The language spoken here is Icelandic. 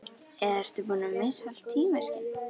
Eða ertu búinn að missa allt tímaskyn?